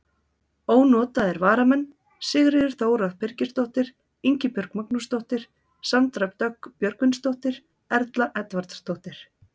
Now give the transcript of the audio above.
Ónotaðir varamenn: Sigríður Þóra Birgisdóttir, Ingibjörg Magnúsdóttir, Sandra Dögg Björgvinsdóttir, Erla Edvardsdóttir.